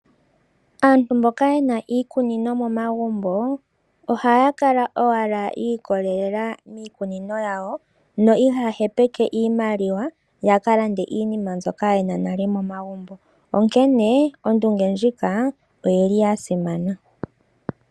Aantu mboka ye na iikunino momagumbo ohaya kala owala yi ikolelela miikunino yawo no ihaya hepeke iimaliwa yawo noku ka landa iinima mbyoka ye na nale momagumbo, onkene ondunge ndjika oya simana.